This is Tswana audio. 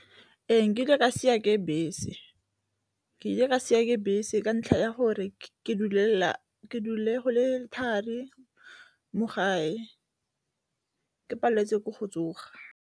Ee, nkile ka siiwa ke bese, ke ile ka siwa ke bese ka ntlha ya gore ke dule go le thari mo gae, ke paleletswe ke go tsoga.